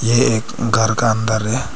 ये एक घर का अंदर है।